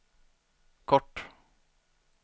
kort